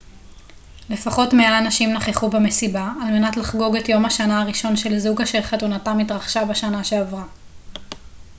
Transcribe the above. לפחות 100 אנשים נכחו במסיבה על מנת לחגוג את יום השנה הראשון של זוג אשר חתונתם התרחשה בשנה שעברה